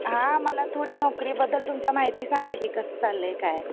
हा मला नोकरी बद्दल तुमच्या माहिती सांगा कि कास चाललंय काय.